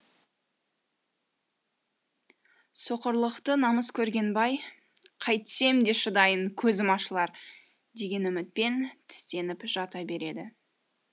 соқырлықты намыс көрген бай қайтсем де шыдайын көзім ашылар деген үмітпен тістеніп жата береді